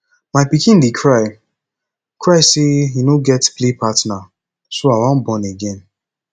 my pikin dey cry cry say he no get play partner so i wan born again